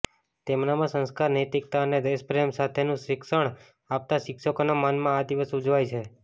તેમનામાં સંસ્કાર નૈતિકતા અને દેશ પ્રેમ સાથેનું શિક્ષણ આપતા શિક્ષકોના માનમાં આ દિવસ ઉજવાય છે